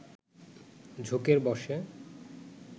ঝোঁকের বসে